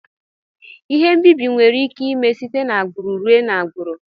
Ihe mbibi nwere ike ime site na agburu ruee na agburu.